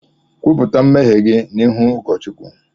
Kwupụta mmehie gị n’ihu ụ̣kọ̣̣ Chukwu!